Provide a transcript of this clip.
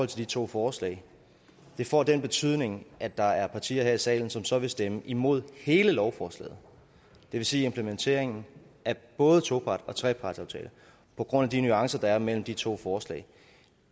de to forslag får den betydning at der er partier her i salen som så vil stemme imod hele lovforslaget det vil sige implementeringen af både toparts og trepartsaftaler på grund af de nuancer der er mellem de to forslag